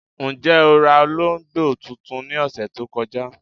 Njẹ́ o rà òlógbo tuntun ní ọṣẹ̀ tó kọ̀jà?